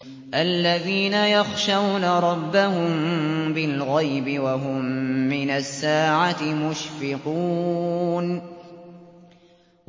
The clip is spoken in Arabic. الَّذِينَ يَخْشَوْنَ رَبَّهُم بِالْغَيْبِ وَهُم مِّنَ السَّاعَةِ مُشْفِقُونَ